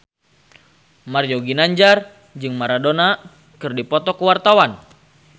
Mario Ginanjar jeung Maradona keur dipoto ku wartawan